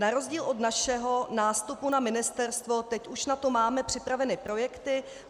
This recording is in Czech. Na rozdíl od našeho nástupu na ministerstvo teď už na to máme připraveny projekty.